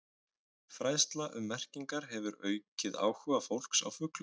Fræðsla um merkingar hefur aukið áhuga fólks á fuglum.